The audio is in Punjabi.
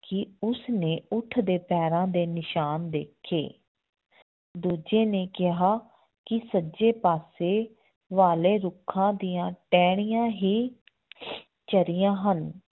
ਕਿ ਉਸਨੇ ਊਠ ਦੇ ਪੈਰਾਂ ਦੇ ਨਿਸ਼ਾਨ ਦੇਖੇ ਦੂਜੇ ਨੇ ਕਿਹਾ ਕਿ ਸੱਜੇ ਪਾਸੇ ਵਾਲੇ ਰੁੱਖਾਂ ਦੀਆਂ ਟਹਿਣੀਆਂ ਹੀ ਚਰੀਆਂ ਹਨ